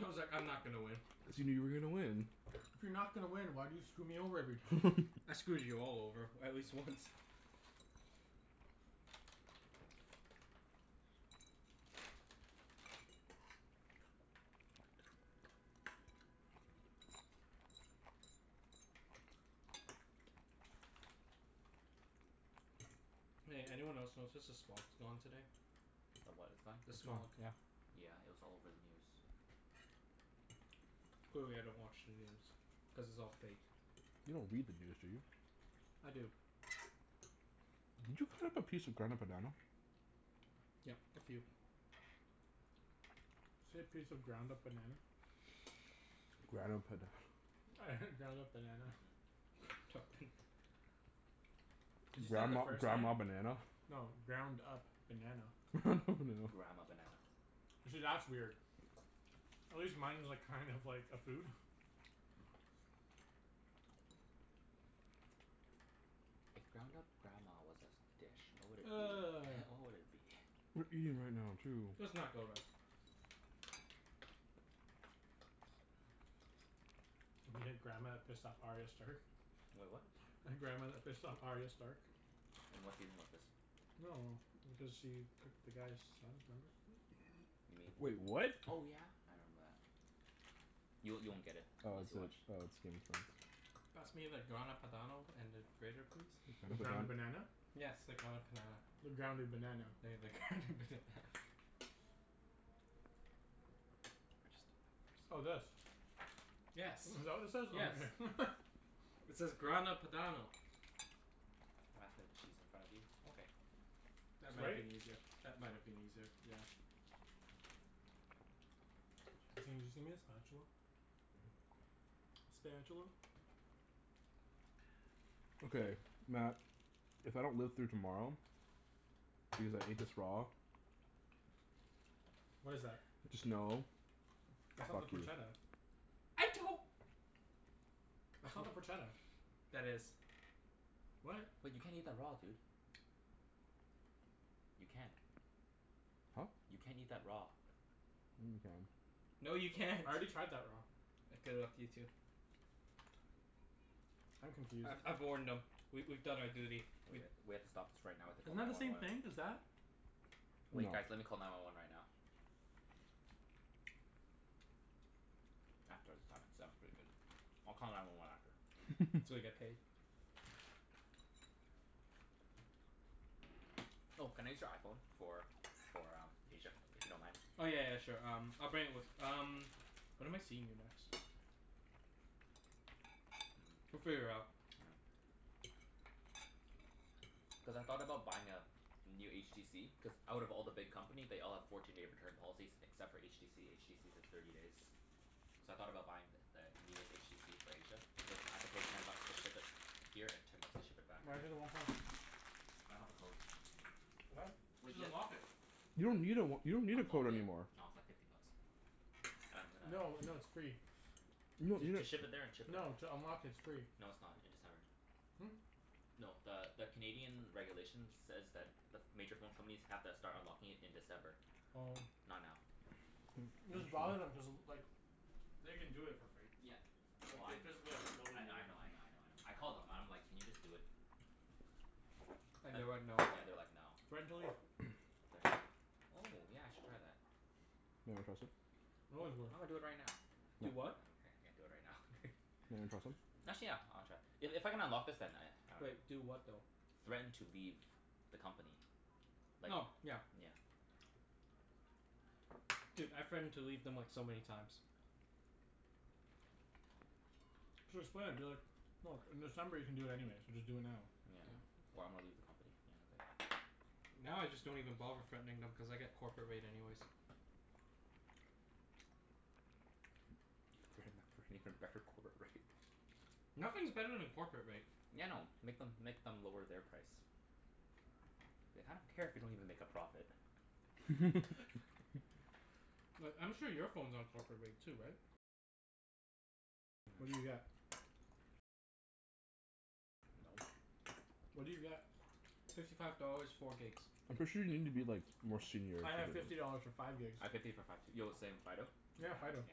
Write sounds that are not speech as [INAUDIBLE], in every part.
I was like, "I'm not gonna win." Assuming you were gonna win? If you're not gonna win, why do you screw me over every time? [NOISE] [LAUGHS] I screwed you all over at least once. [NOISE] Hey, anyone else notice s- the smog's gone today? [NOISE] [NOISE] [NOISE] [NOISE] The what is gone? The smog, yeah. Yeah, it was all over the news. [NOISE] Clearly I don't watch the news. Cuz it's all fake. You don't read the news, do you? I do. [NOISE] Did you cut up a piece of Grana Padano? [NOISE] Yep, a few. [NOISE] [NOISE] Say piece of ground Grana up Pada- banana? [LAUGHS] I heard ground up banana. [NOISE] [LAUGHS] [INAUDIBLE] [NOISE] Cuz you said it the Grandma first time. grandma banana? No. Ground up banana. [NOISE] [LAUGHS] Grandma banana. See, that's weird. [NOISE] At least mine was like, kind of like a food. [LAUGHS] [NOISE] If ground up grandma was a s- dish, [NOISE] what would it be? [NOISE] [NOISE] What would it be? [NOISE] [NOISE] We're eating right now, too. [NOISE] Let's not go rub. [NOISE] We had grandma that pissed off Arya Stark? [NOISE] Wait, What? [NOISE] The grandma that pissed off Arya Stark. In what season was this? No no no. Because she cooked the guy's sons, remember? You mean, Wait, what? oh yeah! I remember that. Y- you won't get it Oh unless is you it watch oh, [NOISE] it's skin [INAUDIBLE] Pass me the Grana Padano and the grater please? The ground up Grana Padan- banana? Yes, the ground up panana. The grounded banana. Yeah, the ground up banana. [NOISE] Oh, this? [INAUDIBLE] Yes. Is that what this is? Oh Yes. okay. [LAUGHS] It says Grana Padano. [NOISE] Can you pass me the cheese in front of you? Okay. That might been [INAUDIBLE] easier. That might have been easier, yeah. [NOISE] [INAUDIBLE] the spatula? [NOISE] [NOISE] Spatula. Okay, Mat, if I don't live through tomorrow because I ate this raw What is that? just know [NOISE] It's not the fuck you. porchetta? [NOISE] I don't That's not the porchetta. That is. What? Wait, you can't eat that raw, dude. You can't. Huh? You can't eat that raw. Yeah, you can. No, you can't. I already tried that raw. Good luck to you, too. I'm confused. I I've warned [NOISE] No. [NOISE] them. We we've done our duty. We We h- we have to stop this right now and Isn't call that nine the one same one. thing as that? Wait guys, No. let me call nine one one right now. After the salmon. The salmon's pretty good. I'll call nine one one after. [NOISE] So we get paid. [LAUGHS] [NOISE] [NOISE] Oh, can I use your iPhone for for uh, Asia, if you don't mind? [NOISE] Oh, yeah yeah yeah, sure. Um, I'll bring it with um When am I seeing you next? [NOISE] [NOISE] We'll Mm, figure it out. [NOISE] yeah. [NOISE] Cuz I thought about buying a new HTC Cuz out of all the big company they all have fourteen day return policies except for HTC. HTC's a [NOISE] thirty days. [NOISE] So I thought about buying th- the newest HTC for Asia. But then I have to pay ten bucks to ship it here and ten bucks to ship it back. Why don't you do the one plus? I don't have a code. [NOISE] What? Wait, Just ye- unlock it. You don't need a w- you don't need a Unlock code it? anymore. No, it's like fifty bucks. I'm gonna No, no, it's free. You don- To you to d- ship it there and ship it back? No, to unlock it, it's free. No, it's not. In December. Hmm? No, the the Canadian regulations says that the ph- major phone companies have to start unlocking it in December. Oh. Not now. Just bother them, cuz like they can do it for free. Yeah, well Like, I they kn- physically have the I kn- I ability to know, I know, I [LAUGHS] know, I know. I called them and I'm like, "Can you just do it?" [NOISE] And And they went, "No"? yeah, they're like, "No." [NOISE] [NOISE] Threaten to leave. [NOISE] Threaten to leave? Oh, yeah I should try that. Wanna try a sip? [NOISE] They always will. I'm gonna do it right now. [NOISE] [INAUDIBLE] Do what? What? I can't do it right now. You wanna try [LAUGHS] some? Actually, yeah. I wanna try. I- if I can unlock this then I, [NOISE] I dunno. Wait. Do what, though? Threaten to leave the company. [NOISE] Like, Oh, yeah. yeah. [NOISE] Dude, I threatened to leave them like, so many times. [NOISE] Just play it, be like, "Look, in December you can do it anyways, so just do it now." [NOISE] Yeah. "Or I'm gonna leave the company." Yeah, okay. Now, I just don't even bother threatening them cuz I get corporate rate anyways. [NOISE] Threaten them for an even better corporate rate. [NOISE] [NOISE] Nothing's better than corporate rate. Yeah, I know. Make them make them lower their price. Like, I don't care if you don't even make a profit. [NOISE] [LAUGHS] [LAUGHS] [NOISE] Like, I'm sure your phone's on corporate rate too, right? Yeah. No. What do you get? [NOISE] Fifty five dollars, four gigs. I'm pretty sure you need to be like, more [NOISE] senior I have to get fifty it. dollars for five [NOISE] gigs. I have fifty for five too. Yo, the same, Fido? Yeah, Yeah, Fido. [NOISE]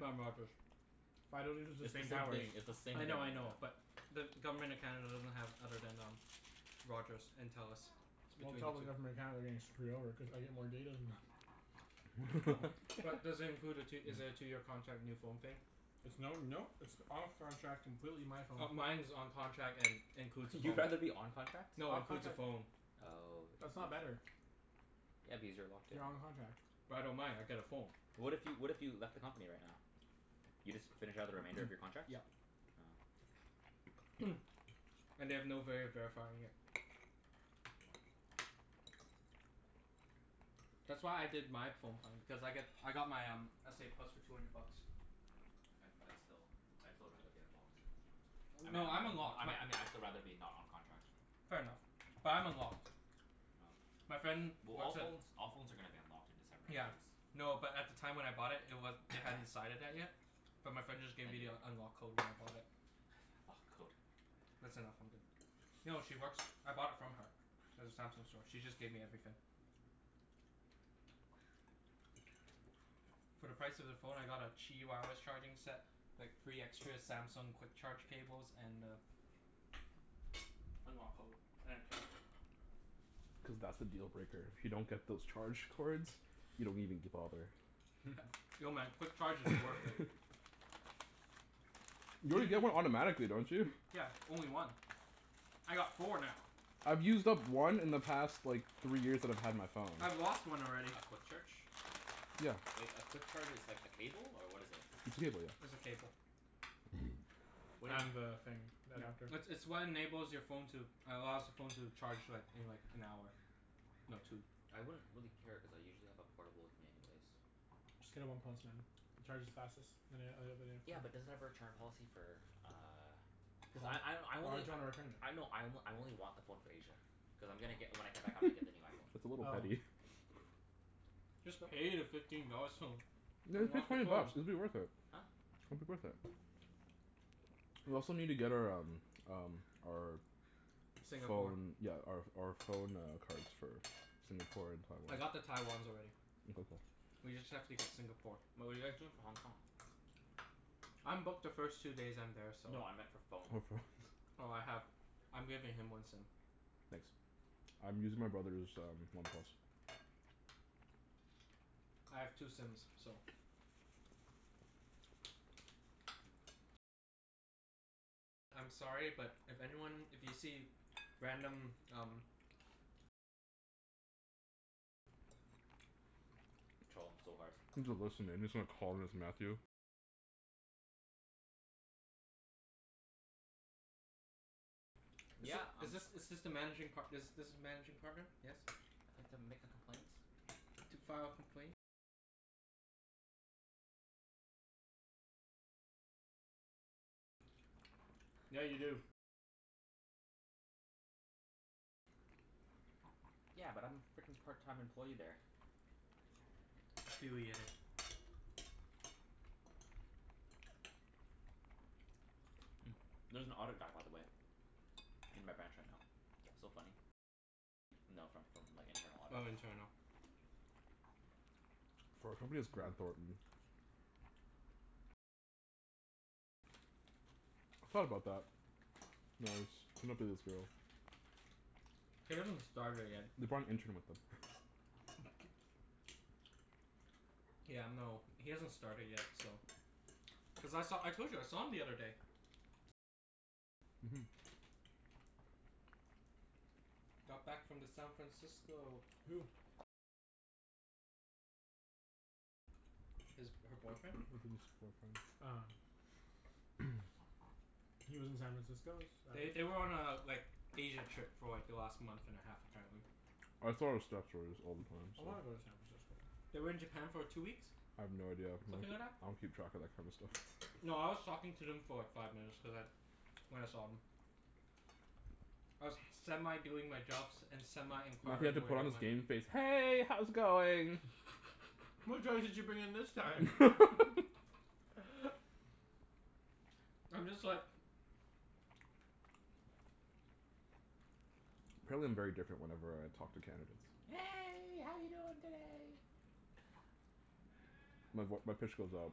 I'm Rogers. Fido uses It's the the same same thing. towers. It's the same I thing, know, I know, yeah. but the Government of Canada doesn't have other than um [NOISE] Rogers and Telus. [NOISE] It's Well, between tell the the two. Government of Canada they're getting screwed over, cuz I get more data than them. [LAUGHS] But does it include a tw- is it [NOISE] a [NOISE] two year contract, new phone thing? It's no, no. It's off contract, completely my phone. Oh, mine's [NOISE] on contract and [LAUGHS] includes a phone. You'd rather be on contract? No, includes a phone. Oh, I That's see. not better. Yeah, because you're locked in. You're on contract. But I don't mind. I get a phone. What if you, what if you left the company right now? You just finish out the remainder of [NOISE] your contracts? Yeah. Oh. [NOISE] And they have no vay of verifying it. [NOISE] [NOISE] That's why I did my phone plan. Cuz I got I got my um, s a plus for two hundred bucks. [NOISE] I'd I'd still, I'd still rather be unlocked. I mean No, I I'm mean I unlocked. My mean I mean I'd still rather be not on contract. Fair enough. [NOISE] But I'm unlocked. Oh. [NOISE] My friend Well, all works at phones all phones are gonna be unlocked in [NOISE] December Yeah. anyways. No, but at the time when I bought it, it wa- they hadn't [NOISE] decided that yet. But my friend just gave Thank me you. the unlock code when I bought it. [NOISE] Lock code. That's enough. I'm good. No, she works, I bought it from her. At the Samsung store. She just gave me everything. [NOISE] [NOISE] For the price of the phone I got a [INAUDIBLE] charging set. Like, three extra Samsung quick charge cables and a unlock code. And a case. Cuz that's the deal breaker. If you don't [NOISE] get those charge cords you don't even g- bother. [NOISE] [LAUGHS] [LAUGHS] [NOISE] No man, quick charge is [LAUGHS] worth it. [NOISE] You You already d- get one automatically, don't you? Yeah, only one. I got four now. I've used up one in the past like three years that I've had my phone. I've lost one already. A quick charge? Yeah. Wait, a quick charge is like a cable, or what is it? It's a cable, yeah. It's a cable. [NOISE] [NOISE] Wait And the thing. Yeah. Adapter. It's it's what enables your phone to allows the phone to charge like, in like, an hour. No, two. [NOISE] I wouldn't really care cuz I usually have a portable with me anyways. [NOISE] [NOISE] Just get a one plus, man. It charges fastest than an- oth- other Yeah, but does it have a return policy for uh Cuz I I I Why only would you wanna return it? I know, I o- I only want the phone for Asia. Cuz I'm gonna get, when I come back [LAUGHS] I'm gonna get the new iPhone. That's a little Oh. petty. [NOISE] Just [NOISE] pay the fifteen dollars to [NOISE] Yeah, just pay unlock your twenty phone. bucks. It'll be worth it. Huh? It'll be worth it. [NOISE] We also need to get our um um our [NOISE] Singapore. phone, yeah, our ph- our phone uh cards. For Singapore and I got the Taiwan. Taiwans already. [INAUDIBLE] We just have to get Singapore. But what are you guys doing for Hong Kong? [NOISE] I'm booked the first two days I'm there, so No, I meant for For phone. phones. Oh, I have, I'm giving him one sim. Nice. [NOISE] I'm using my brother's um one plus. [NOISE] I have two sims, so [NOISE] I'm sorry, but if anyone, if you see random, um [NOISE] Troll them so hard. Is th- Yeah, um is this is this the managing par- this this is managing partner? Yes? I'd like to make a complaint. To file a complaint Yeah, you do. Yeah, but I'm frickin' part time employee there. Affiliated. [NOISE] [NOISE] Mm, there's an audit guy, by the way. [NOISE] In my branch right now. [NOISE] Oh, internal. [NOISE] For our company it's Graham Thornton. I thought about that. [INAUDIBLE] [NOISE] He hasn't started yet. They're probably interning with him. [LAUGHS] [NOISE] [LAUGHS] [NOISE] Yeah, no, he hasn't started yet, so Cuz I saw, I told you I saw him the other day. Mhm. Got back from the San Francisco. Who? His, her boyfriend. [NOISE] Ah. [NOISE] He lives in San Francisco? Is They th- they were on a like, Asia trip for like, the last month and a half apparently. I wanna go to [INAUDIBLE] San Francisco. [NOISE] They were in Japan for two weeks. I have no idea. I Something like don't that. I don't keep track of that kind of stuff. No, I was talking to them for like, five minutes cuz I when I saw 'em. [NOISE] I was semi doing my jobs [NOISE] and semi He had to inquiring where put they on his went. [NOISE] game face. "Hey, how's it going?" [LAUGHS] What drugs did you bring in this time? [LAUGHS] [LAUGHS] [NOISE] I'm just like [NOISE] Apparently I'm very different whenever I talk to candidates. [NOISE] "Hey, how you doing today?" My voi- my pitch goes up.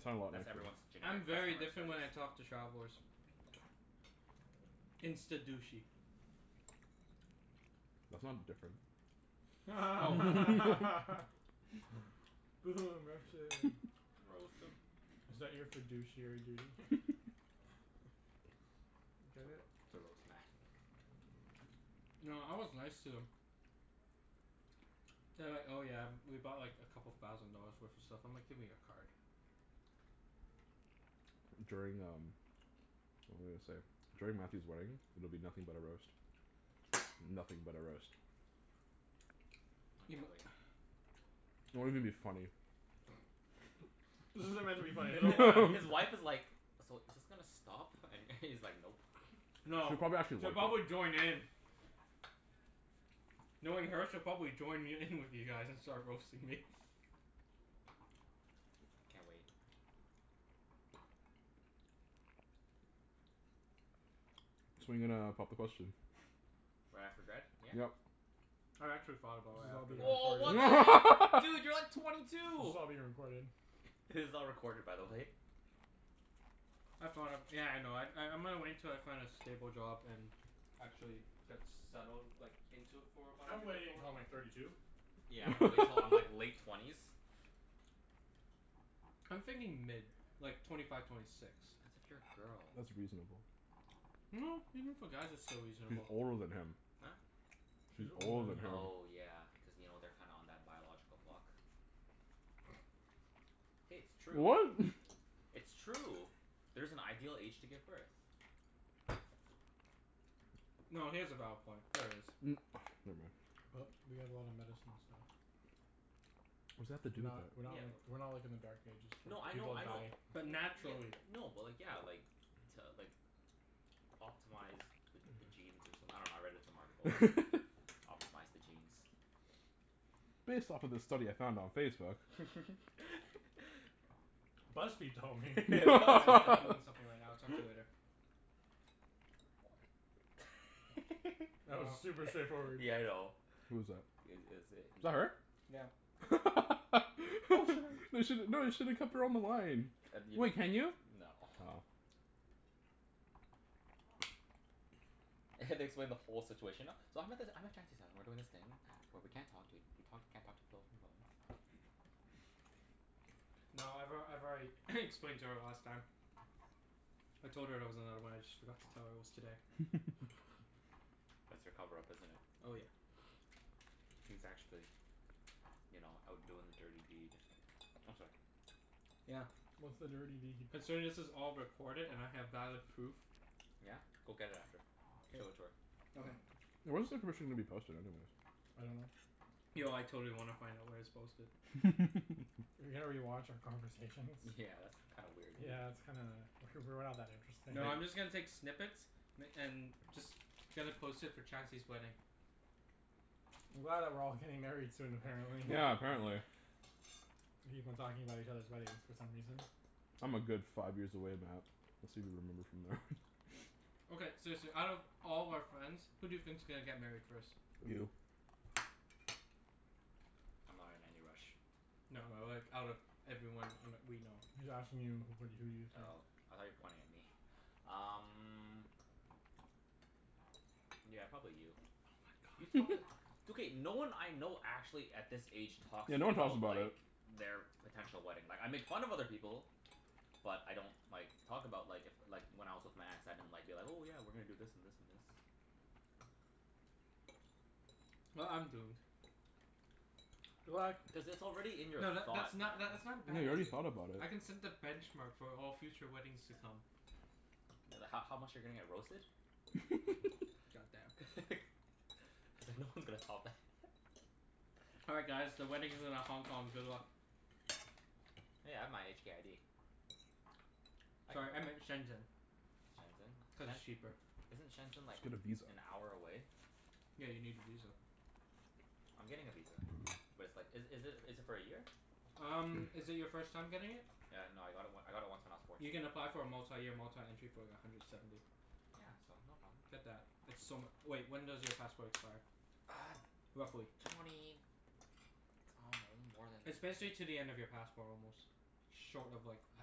I sound a lot That's nicer. everyone's I'm generic very different when customer I service. talk to travelers. [NOISE] Insta douchey. [NOISE] That's not different. [NOISE] [LAUGHS] [INAUDIBLE] Oh Is that your fiduciary duty? f- [LAUGHS] [NOISE] To Get it? ro- to roast Mat. [NOISE] No, I was nice to them. [NOISE] [LAUGHS] [NOISE] [LAUGHS] [NOISE] They were like, "Oh yeah, we bought like, a couple thousand dollars worth of stuff." I'm like, "Give me your card." During um, what was I gonna say? During Mathew's wedding, it'll be nothing but a roast. Nothing but a roast. [NOISE] [NOISE] [NOISE] I You mi- can't wait. [NOISE] It won't even be funny. [NOISE] [LAUGHS] [LAUGHS] This isn't meant to be funny His [INAUDIBLE] wife [LAUGHS] is like, "So, is this gonna stop?" And [LAUGHS] he's like, "Nope." [NOISE] No, She probably actually she'll would. probably join in. [NOISE] Knowing her, she'll probably join y- in with you guys and start roasting me. [NOISE] Can't wait. [NOISE] So when are you gonna pop the question? [NOISE] Right after grad, yeah? Yep. I actually thought [NOISE] about This is right all after being grad. Woah, what the heck? [LAUGHS] Dude! You're like twenty This two! is all being recorded. This is all recorded, by the way. [NOISE] I thought of, yeah, I know. I I'm gonna wait till I find a stable job and actually [NOISE] get settled like, into it for [NOISE] about a I'm year waiting before. until I'm like thirty two. Yeah, I'm gonna wait til I'm like [LAUGHS] [LAUGHS] late [LAUGHS] twenties. I'm thinking mid. Like, twenty five, twenty six. That's if [NOISE] you're a girl. That's reasonable. [NOISE] No, even for guys it's still She's reasonable. older than him. Huh? [NOISE] [NOISE] She's She's older older than than him. him. Oh yeah, cuz you know, they're kinda on that biological clock. Hey, it's [NOISE] true. What? [LAUGHS] It's true. There's an ideal age to give birth. [NOISE] [NOISE] No, he has a valid point. There is. Mm, [NOISE] But we never have a lot of mind. medicine and stuff. [NOISE] What does that We're have to do with not we're not Yeah, like w- we're not like in the dark ages No, where I know, people I know. die. [NOISE] But Ye- naturally. n- no, but like, yeah, like to like optimize the the genes or someth- I dunno, I read it in some article. it? [NOISE] [LAUGHS] Optimize the genes. Based off of this study I found on Facebook. [LAUGHS] [NOISE] BuzzFeed told me. [NOISE] Hey [LAUGHS] babe. BuzzFeed I'm told I'm doing me. [LAUGHS] something right now. I'll talk to you later. [NOISE] [NOISE] That was Oh. super [LAUGHS] straightforward. Yeah, I know. Who was that? I- it is Was i- that her? Yeah. [LAUGHS] You should, no, you should've kept her on the line. [INAUDIBLE] No. [NOISE] Oh. I have to explain the whole situation now. So I'm at this, I'm at Chancey's hou- and we're doing this thing where we [NOISE] can't talk to ea- we talk, we can't talk to people from phones. No, I've al- I've already [NOISE] explained to [LAUGHS] her last time. I told her there was another one, I just forgot to tell her it was today. [LAUGHS] [NOISE] [NOISE] That's your cover up, isn't it? Oh yeah. [LAUGHS] He's actually you know, out doing the dirty deed. Oh, sorry. [NOISE] Yeah. What's the dirty [NOISE] deed? Considering this is all recorded and I have valid proof. Yeah? Go get it after. [NOISE] K. Show it to her. Okay. [NOISE] Where's the information gonna be posted, anyways? I dunno. [NOISE] Yo, I totally wanna find out where it's posted. [NOISE] [INAUDIBLE] rewatch our [NOISE] conversation? Yeah, that's kind of weird, [NOISE] dude. Yeah, that's kinda W- we're not that interesting. No, I'm They just gonna take snippets m- and just [LAUGHS] gonna [NOISE] post it for Chancey's wedding. I'm glad that we're all getting married soon, [NOISE] apparently. Yeah, apparently. [LAUGHS] We keep on talking about each other's weddings for some reason. I'm a good five years away, Mat. [INAUDIBLE] [LAUGHS] [NOISE] Okay, seriously, out [NOISE] of all our friends, who do you think's gonna get married first? [NOISE] You. [NOISE] I'm not in any rush. No, like, out of everyone in we know. [NOISE] He's asking you who wh- who do you think? Oh, I thought you were pointing at me. Um Yeah, probably you. Oh my god. [INAUDIBLE] It's [NOISE] [LAUGHS] okay. No one I know actually, at this age, talks Yeah, no one talks about about like it. their potential wedding. Like, I make fun of other people. But I don't like, talk about like, if like, when I was with my ex, I didn't like, be like, "Oh yeah, we're gonna do this and this and this." [NOISE] [NOISE] Well, I'm doomed. [NOISE] [NOISE] What? Cuz it's already in your No, tha- thought, that's man. not that's not a Yeah, bad you already idea. thought about it. I can set the benchmark for all future weddings to come. Th- h- how much you're gonna get roasted? [NOISE] God damn. [LAUGHS] He's like, "No [NOISE] one's gonna top that." [LAUGHS] [NOISE] All right, guys, the wedding's in a Hong Kong. Good luck. [NOISE] Hey, I have [LAUGHS] my HK ID. I can Sorry, I go. meant Shenzhen, Shenzhen? cuz Shen- it's cheaper. [NOISE] Isn't [NOISE] Shenzhen Just like, get a visa. an hour away? Yeah, you need a visa. I'm getting a visa. But it's like, is is it is it for a year? Um, is it your first time getting it? Yeah, no, I got it w- I got it once when I was You fourteen. can apply for a multi-year, multi-entry for like, a hundred seventy. Yeah, so no problem. Get that. It's so mu- wait, when does your passport expire? [NOISE] Uh Roughly? [NOISE] twenty, I dunno, more than It's basically to the end of your passport almost. Short of like, a